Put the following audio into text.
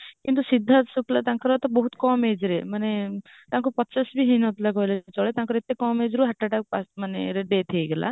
କିନ୍ତୁ ସିଦ୍ଧାର୍ଥ ଶୁକ୍ଲା ତାଙ୍କର ତ ବହୁତ କମ ageରେ ମାନେ ତାଙ୍କ ପଚାଶ ବି ହେଇନଥିଲା କହିବାକୁ ଚଳେ ତାଙ୍କ ଏତେ କମ ageରେ heart attack ରେ pass ମାନେ death ହେଇଗଲା